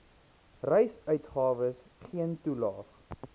reisuitgawes geen toelaag